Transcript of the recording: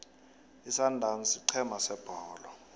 isundowns sigcema sebholo